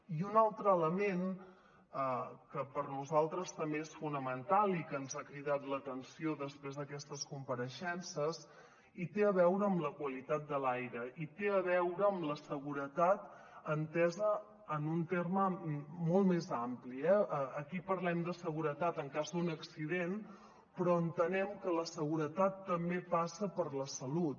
i un altre element que per nosaltres també és fonamental i que ens ha cridat l’atenció després d’aquestes compareixences té a veure amb la qualitat de l’aire i té a veure amb la seguretat entesa en un terme molt més ampli eh aquí parlem de seguretat en cas d’un accident però entenem que la seguretat també passa per la salut